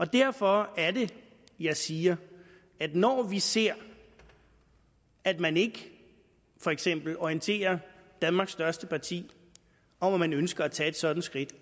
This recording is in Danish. derfor er det jeg siger at når vi ser at man ikke for eksempel orienterer danmarks største parti om at man ønsker at tage et sådan skridt